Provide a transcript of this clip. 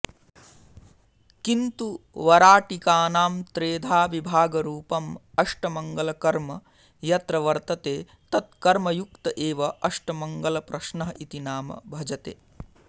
किन्तु वराटिकानां त्रेधा विभागरूपं अष्टमङ्गलकर्म यत्र वर्तते तत् कर्मयुक्त एव अष्टमङ्गलप्रश्नः इति नाम भजते